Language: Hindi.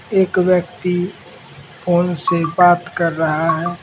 एक व्यक्ति फोन से बात कर रहा है।